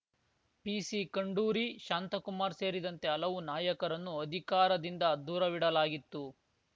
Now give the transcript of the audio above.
PC Khanduri Shantakumar ಸೇರಿದಂತೆ ಹಲವು ನಾಯಕರನ್ನು ಅಧಿಕಾರದಿಂದ ದೂರವಿಡಲಾಗಿತ್ತು